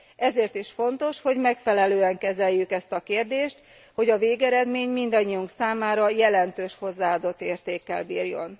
Ezért is fontos, hogy megfelelően kezeljük ezt a kérdést, hogy a végeredmény mindannyiunk számára jelentős hozzáadott értékkel bírjon.